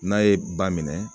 N'a ye ba minɛ